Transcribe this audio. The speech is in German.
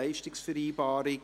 Leistungsvereinbarung […]».